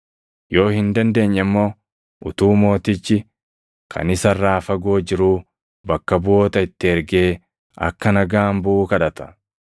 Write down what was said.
Yoo hin dandeenye immoo utuu mootichi kaan isa irraa fagoo jiruu bakka buʼoota itti ergee akka nagaan buʼu kadhata.